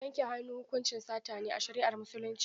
Yanke hannu hukuncin sata ne a shari'ar Musulunci.